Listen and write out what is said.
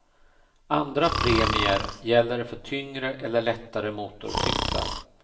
Andra premier gäller för tyngre eller lättare motorcyklar.